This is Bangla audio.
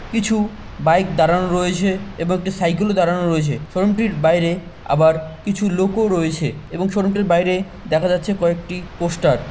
কিছু বাইক দাঁড়ানো রয়েছে এবং একটি সাইকেল দাঁড়ানো রয়েছে শোরুম টির বাইরে আবার কিছু লোকও রয়েছে এবং শোরুম টির বাইরে দেখা যাচ্ছে কয়েকটি পোস্টার ।